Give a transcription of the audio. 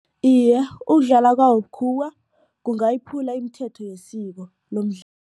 Iye, ukudlala kwawo bukhuwa kungayiphula imithetho yesiko